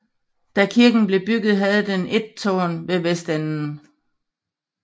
Da kirken blev bygget havde den et tårn ved vestenden